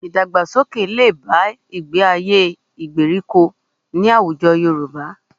Ìdàgbàsókè lè bá ìgbé-ayé gbèríko ní àwùjọ Yorùbá